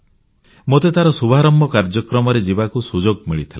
ମୋତେ ତାର ଶୁଭାରମ୍ଭ କାର୍ଯ୍ୟକ୍ରମରେ ଯିବାକୁ ସୁଯୋଗ ମିଳିଥିଲା